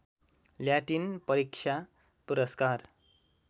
Latin परीक्षा पुरस्कार